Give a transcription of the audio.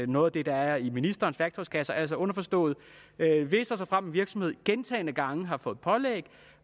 noget af det der er i ministerens værktøjskasse altså underforstået at hvis og såfremt en virksomhed gentagne gange har fået pålæg